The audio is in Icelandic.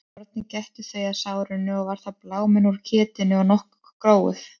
Að morgni gættu þau að sárinu og var þá bláminn úr ketinu og nokkuð gróið.